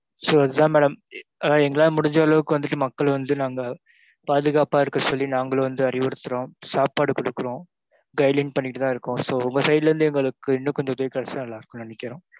So இது தான் madam எங்களால முடிஞ்ச அளவுக்கு வந்துட்டு மக்கள வந்து நாங்க பாதுகாப்பா இருக்க சொல்லி நாங்களும் வந்து அறிவுறுத்துறோம், சாப்பாடு குடுக்குறோம், guideline பண்ணிட்டு தான் இருக்குறோம். So உங்க side ல இருந்து எங்களுக்கு இன்னும் கொஞ்ச உதவி கிடைச்ச நல்லருக்குன்னு நினைக்கிறோம்.